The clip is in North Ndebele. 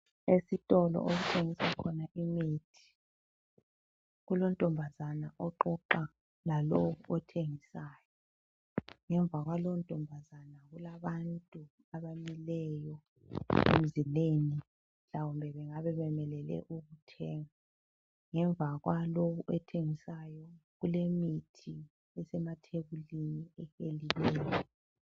Esitolo okuthengiswa khona imithi. Kulontombazana oxoxa lalo othengisayo. Ngemva kwalo ntombazana kulabantu abamileyo emzileni mhlawumbe bengabe bemelele ukuthenga. Ngemva kwalo othengisayo kulemithi esemathebulini ebekiweyo.